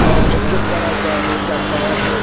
और गेट बना हुआ है चार-पाँच।